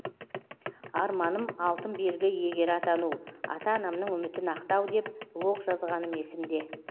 арманым алтын белгі иегері атану ата анамның үмітін ақтау деп блог жазғаным есімде